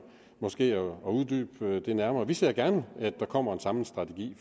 måske at uddybe det nærmere vi ser gerne at der kommer en samlet strategi